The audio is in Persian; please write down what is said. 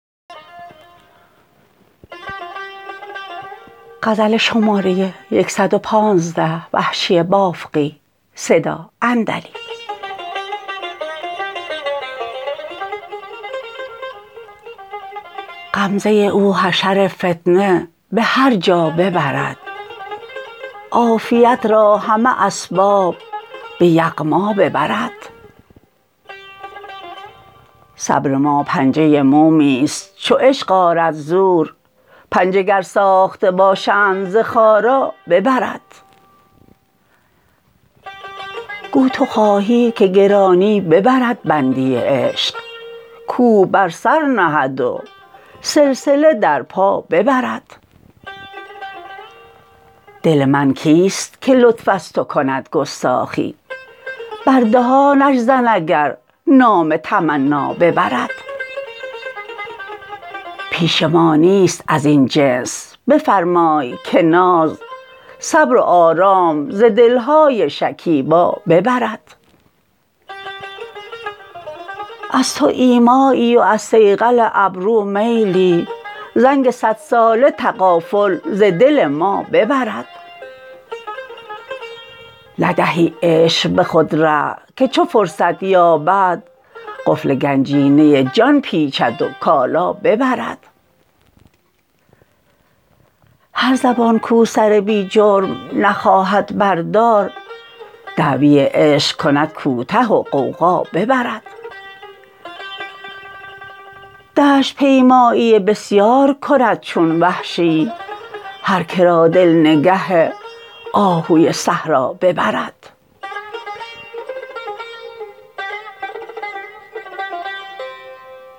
غمزه او حشر فتنه به هر جا ببرد عافیت را همه اسباب به یغما ببرد صبر ما پنجه مومیست چوعشق آرد زور پنجه گر ساخته باشند ز خارا ببرد گو تو خواهی که گرانی ببرد بندی عشق کوه بر سر نهد وسلسله در پا ببرد دل من کیست که لطف از تو کند گستاخی بر دهانش زن اگر نام تمنا ببرد پیش ما نیست ازین جنس بفرمای که ناز صبر و آرام ز دلهای شکیبا ببرد از تو ایمایی و از صیقل ابرو میلی زنگ سد ساله تغافل ز دل ما ببرد ندهی عشق به خود ره که چو فرصت یابد قفل گنجینه جان پیچد و کالا ببرد هر زبان کو سر بی جرم نخواهد بر دار دعوی عشق کند کوته و غوغا ببرد دشت پیمایی بسیار کند چون وحشی هر کرا دل نگه آهوی صحرا ببرد